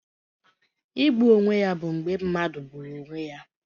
Igbu onwe ya bụ mgbe mmadụ gburu onwe ya